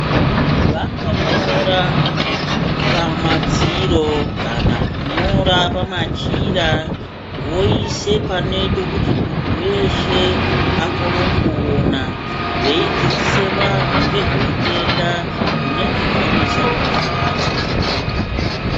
Vanonyora pamadziro kana kunyora pamachira voise panoita kuti muntu weshe akone kuona veidzidzise vanhu nezveutenda hunenge wanetsa mazuva achona.